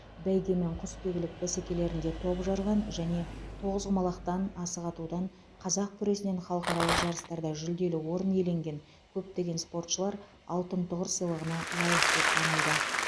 бәйге мен құсбегілік бәсекелерінде топ жарған және тоғызқұмалақтан асық атудан қазақ күресінен халықаралық жарыстарда жүлделі орын иеленген көптеген спортшылар алтын тұғыр сыйлығына лайық деп танылды